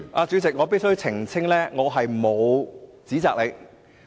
主席，我必須澄清的是，我沒有指責你。